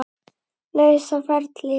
lausa ferli.